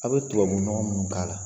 A' bɛ tubabu nɔgɔ minnu k'a la.